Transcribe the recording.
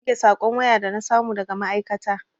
Yau na goge sakon waya da na samu daga ma'aikata